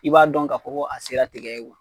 I b'a dɔn ka fɔ ko a sera tigɛ ye